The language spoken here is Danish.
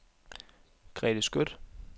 Grete Skøtt